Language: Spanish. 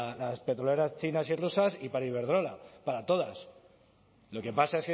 las petroleras chinas y rusas y para iberdrola para todas lo que pasa